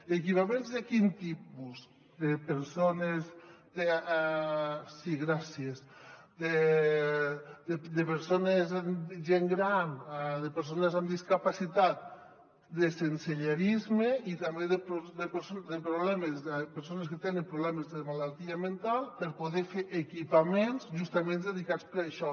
equipaments de quin tipus de gent gran de persones amb discapacitat de sensellarisme i també de persones que tenen problemes de malaltia mental per poder fer equipaments justament dedicats a això